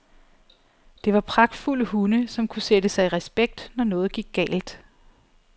Det var pragtfulde hunde, som kunne sætte sig i respekt, når noget gik galt.